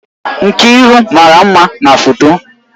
Nkiru mara mma na foto